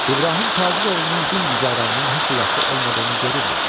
İbrahim tacir oğlunun gün-güzəranının heç də yaxşı olmadığını görürdü.